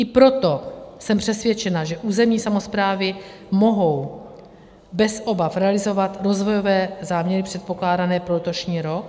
I proto jsem přesvědčena, že územní samosprávy mohou bez obav realizovat rozvojové záměry předpokládané pro letošní rok.